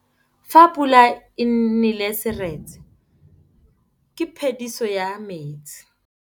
Fa pula e nelê serêtsê ke phêdisô ya metsi.